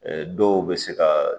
Ɛɛ dɔw be se ga